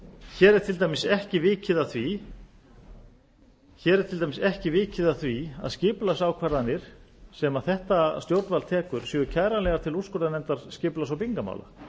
hér er til dæmis ekki vikið að því að skipulagsákvarðanir sem þetta stjórnvald tekur séu kæranlegar til úrskurðarnefndar skipulags og byggingarmála